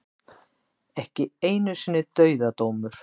Ekki einu sinni dauðadómur.